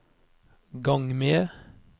gang med